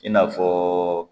I n'a fɔ